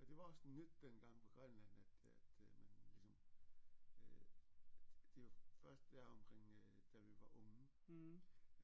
Og det var også nyt dengang på Grønland at at man ligesom øh det var først deromkring øh da vi var unge